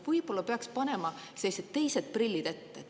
Võib-olla peaks panema teised prillid ette.